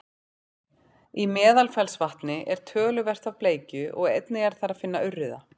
í meðalfellsvatni er töluvert af bleikju og einnig er þar að finna urriða